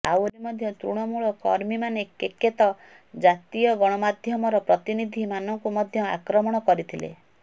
ଆହୁରିମଧ୍ୟ ତୃଣମୂଳ କର୍ମୀମାନେ କେକେତ ଜାତୀୟ ଗଣମାଧ୍ୟମର ପ୍ରତିନିଧିମାନଙ୍କୁ ମଧ୍ୟ ଆକ୍ରମଣ କରିଥିଲେ